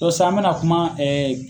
san an mɛna kuma